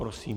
Prosím.